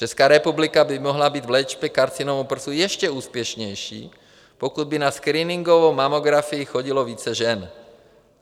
Česká republika by mohla být v léčbě karcinomu prsu ještě úspěšnější, pokud by na screeningovou mamografii chodilo více žen.